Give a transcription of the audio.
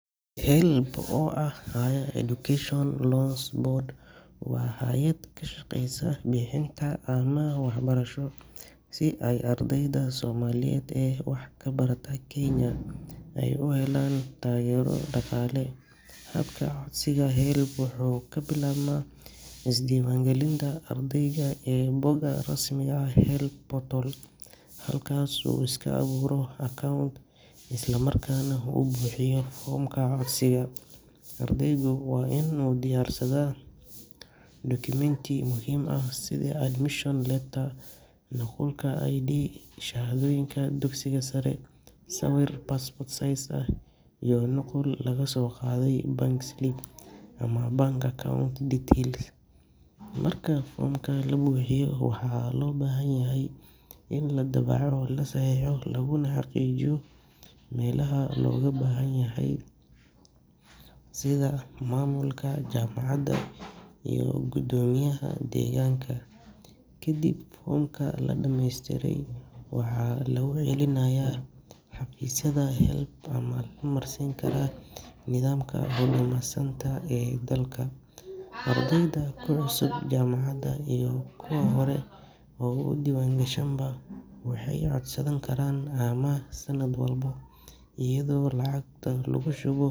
HELB oo ah Higher Education Loans Board waa hay’ad ka shaqeysa bixinta amaah waxbarasho si ay ardayda Soomaaliyeed ee wax ka barata Kenya ay u helaan taageero dhaqaale. Habka codsiga HELB wuxuu ka bilaabmaa isdiiwaangelinta ardayga ee bogga rasmiga ah ee HELB portal, halkaasoo uu iska abuuro account isla markaana uu buuxiyo foomka codsiga. Ardaygu waa inuu diyaarsadaa dukumeenti muhiim ah sida admission letter, nuqulka ID card, shahaadooyinka dugsiga sare, sawir passport size ah iyo nuqul laga soo qaaday bank slip ama bank account details. Marka foomka la buuxiyo, waxaa loo baahan yahay in la daabaco, la saxiixo, laguna xaqiijiyo meelaha looga baahan yahay sida maamulka jaamacadda iyo guddoomiyaha deegaanka. Kadib, foomka la dhameystiray waxaa lagu celinayaa xafiisyada HELB ama lala marsiin karaa nidaamka Huduma Centre ee dalka. Ardayda ku cusub jaamacadda iyo kuwa hore u diiwaangashanba waxay codsan karaan amaah sanad walba, iyadoo lacagta lagu shubo.